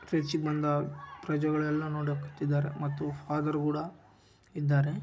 ಪ್ರಜೆಗಳೆಲ್ಲಾ ನೋಡ ಬಂದಿದ್ದಾರೆ ಮತ್ತು ಫಾದರ್‌ ಕೂಡ ಇದ್ದಾರೆ.